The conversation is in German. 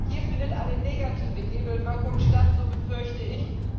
Hier findet eine negative Hebelwirkung statt, so befürchte ich.